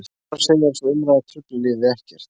Ólafur segir að sú umræða trufli liðið ekkert.